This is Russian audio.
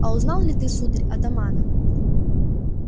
а узнал ли ты сударь атамана